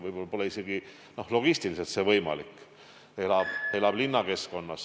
Võib-olla pole see logistiliselt üldse võimalik, kui inimene elab näiteks hoopis linnakeskkonnas.